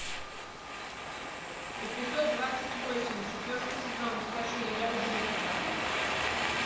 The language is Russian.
эпизод двадцать восемь четвертый сезон скажи я люблю тебя